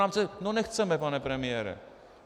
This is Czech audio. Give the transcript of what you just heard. No nechceme, pane premiére.